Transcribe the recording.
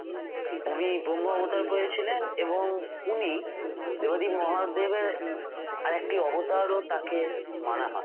উনি ব্রহ্ম অবতার পেয়েছিলেন এবং উনি দেবাদিদেব মহাদেবের আরেকটি অবতারও তাকে মানা হয়